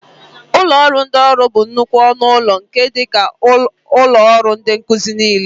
Ụlọ ndị ọrụ bụ nnukwu ọnụ ụlọ nke dị ka ụlọ ọrụ ndị nkuzi niile.